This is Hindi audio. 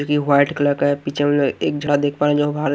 जोकि व्हाइट कलर का है पीछे मतलब एक जगह देख पायेंगे --